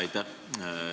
Aitäh!